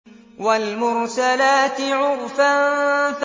وَالْمُرْسَلَاتِ عُرْفًا